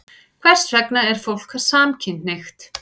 Hvers vegna er fólk samkynhneigt?